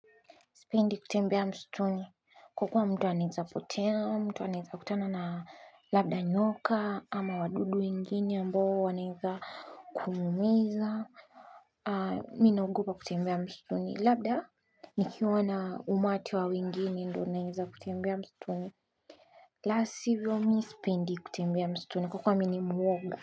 Sipendi kutembea msituni kwa kuwa mtu anaweza potea, mtu anaweza kutana na labda nyoka ama wadudu wengine ambao wanaweza kumuhumiza, mimi naogopa kutembea msituni. Labda nikiwa na umati wa wengine ndio naweza kutembea msituni. La sivyo, mimi sipendi kutembea msituni kwa kuwa mimi ni mwoga.